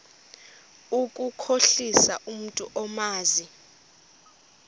ukukhohlisa umntu omazi